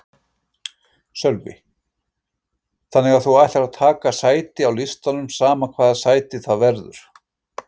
Sölvi: Þannig að þú ætlar að taka sæti á listanum sama hvaða sæti það verður?